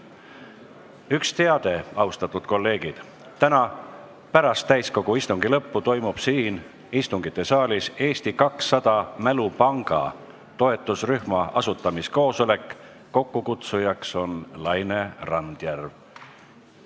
Üks teade, austatud kolleegid: täna pärast täiskogu istungi lõppu toimub siin istungisaalis Eesti 200 Mälupanga toetusrühma asutamiskoosolek, mille kutsub kokku Laine Randjärv.